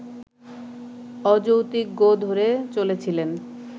অযৌক্তিক গোঁ ধরে চলেছিলেন